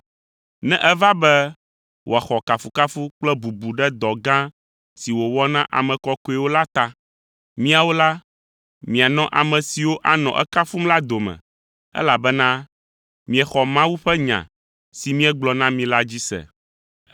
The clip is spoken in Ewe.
ne eva be wòaxɔ kafukafu kple bubu ɖe dɔ gã si wòwɔ na ame kɔkɔewo la ta. Miawo la, mianɔ ame siwo anɔ ekafum la dome, elabena miexɔ Mawu ƒe nya si míegblɔ na mi la dzi se.